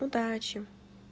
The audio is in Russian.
удачи